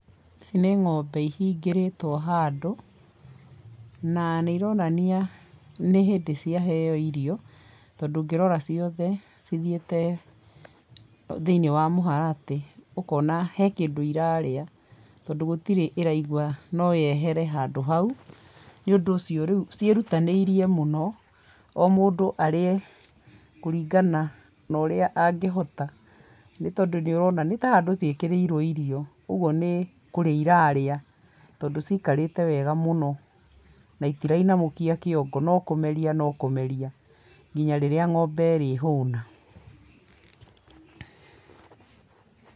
ĩci nĩ ng’ombe ihingĩrĩtwo handũ, na nĩ ironania nĩ hĩndĩ cia heo irio, tondũ ũngĩrora ciothe cithiĩte, thĩiniĩ wa mũharatĩ, ũkona he kĩndũ irarĩa, tondũ gũtire ĩraigua noyehere handũ hau, nĩ ũndũ ũcio ciĩrutanĩirie mũno, o mũndũ arĩe kũringana na ũrĩa angĩhota, nĩ tondũ nĩ ũrona nĩ ta handũ ciekĩrorwo irio ũguo, nĩ kũrĩa irarĩa tondũ cikarĩte wega mũno na itira inamũkia kĩongo nokũmeria nokũmeria nginya rĩrĩa ng’ombe ĩrĩ hũna.